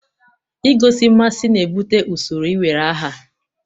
Igosi mmasị na-ebute usoro iwere aha.